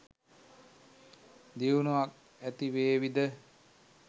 දියුණුවක් ඇතිවේවි ද?